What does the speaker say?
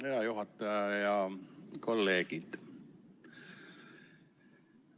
Hea juhataja ja kolleegid!